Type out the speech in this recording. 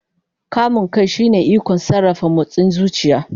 Kamun kai shine ikon sarrafa motsin zuciya.